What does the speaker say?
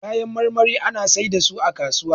Kayan marmari ana sai da su a kasuwa